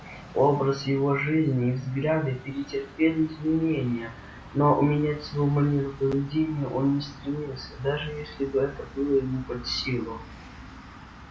образ его жизни и взгляды претерпели изменение но менять свою манеру поведения он не стремился даже если бы это было ему под силу